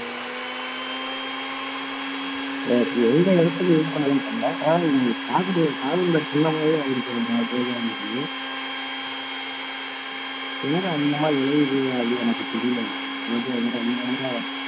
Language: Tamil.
எனக்கு எந்த இடத்துல use பண்றதுன்னு தெரியல ஆனா அது காதலோட காதலோட சின்னங்குறது எனக்கு எங்க அதிகமா விளையுது அது எனக்கு தெரியலங்க ரோஜா எங்க அதிகமா